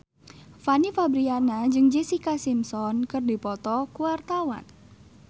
Fanny Fabriana jeung Jessica Simpson keur dipoto ku wartawan